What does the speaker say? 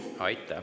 Aitäh!